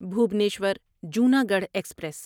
Bhubaneswar Junagadh express